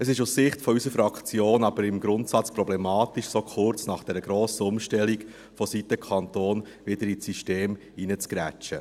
Es ist aus Sicht unserer Fraktion aber im Grundsatz problematisch, so kurz nach der grossen Umstellung seitens des Kantons wieder ins System «hineinzugrätschen».